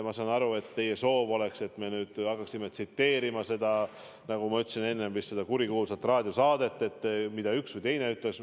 Ma saan aru, et teie soov oleks, et me nüüd hakkaksime tsiteerima, nagu ma juba ütlesin, seda kurikuulsat raadiosaadet, seda, mida üks või teine ütles.